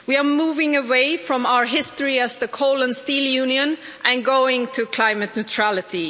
We are moving away from our history as the coal and steel union and heading towards climate neutrality.